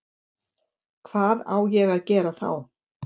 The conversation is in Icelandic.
Hvað á ég að gera þá?